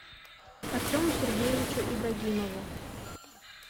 артему сергеевичу ибрагимову